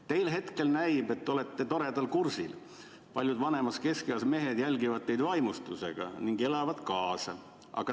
Teile hetkel näib, et olete toredal kursil, paljud vanemas keskeas mehed järgivad teid vaimustusega ning elavad kaasa.